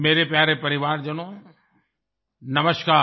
मेरे प्यारे परिवारजनों नमस्कार